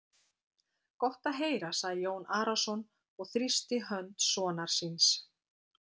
Gott er að heyra, sagði Jón Arason og þrýsti hönd sonar síns.